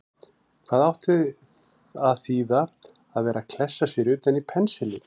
Hvað átti að þýða að vera að klessa sér utan í pensilinn!